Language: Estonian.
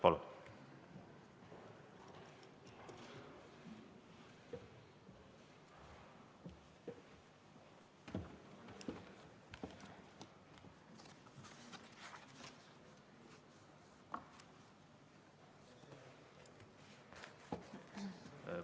Palun!